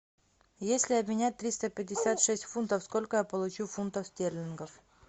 если обменять триста пятьдесят шесть фунтов сколько я получу фунтов стерлингов